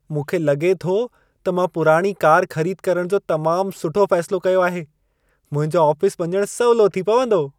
मूंखे लॻे थो त मां पुराणी कार खरीद करण जो तमाम सुठो फैसिलो कयो आहे। मुंहिंजो आफिस वञण सवलो थी पवंदो।